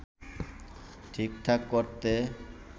ঠিকঠাক করতে